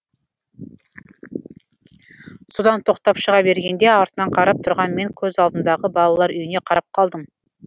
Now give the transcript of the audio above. содан тоқтап шыға бергенде артынан қарап тұрған мен көз алдымдағы балалар үйіне қарап қалдым